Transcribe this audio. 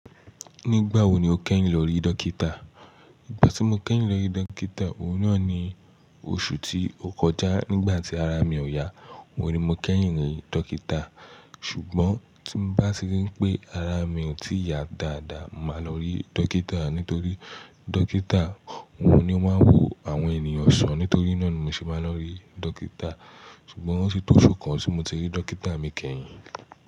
Nígbà wo ni o kẹ́yìn lọ rí dókítà? Nígbà tí mo kẹ́yìn lọ rí dókítà, òun náà ni oṣù tí ó kọjá nígbà tí ara mi ò yá, mo ni mo kẹ́yìn rí dókítà. Ṣùgbọ́n tí mo bá ṣe ri pé ara mi ò tí yà dáadáa, màá lọ rí dókítà nítorí dókítà òun ni ó máa ń wo àwọn ènìyàn ṣán. Nítorí náà ni mo ṣe máa lọ rí dókítà. Ṣùgbọ́n ó ti tó oṣù kan tí mo ti rí dókítà mi kẹ́yìn.